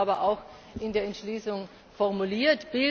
So ist es aber auch in der Entschließung formuliert.